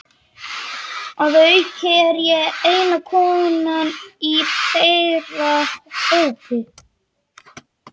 Að auki er ég eina konan í þeirra hópi.